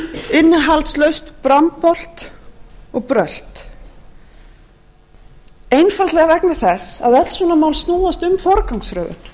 innihaldslaust brambolt og brölt einfaldlega vegna þess að öll svona mál snúast um forgangsröðun